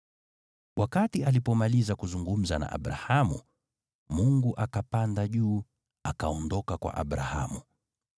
Wakati alipomaliza kuzungumza na Abrahamu, Mungu akapanda juu akaondoka kwa Abrahamu.